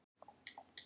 Hann sendi